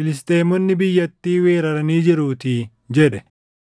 Filisxeemonni biyyattii weeraranii jiruutii” jedhe.